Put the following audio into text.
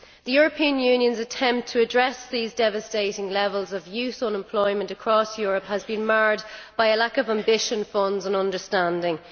The European Union's attempt to address these devastating levels of youth unemployment across Europe has been marred by a lack of ambition, funds and understanding.